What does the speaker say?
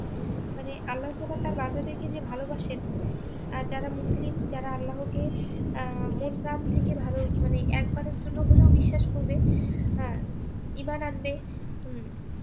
তবে আল্লাহতালা তার যে ভালোবাসেন আর যারা মুসলিম যারা আল্লাহকে আহ মন প্রান থেকে ভালো মানে একবারের জন্য হলেও বিশ্বাস করবে হ্যাঁ ইবানন্দে উম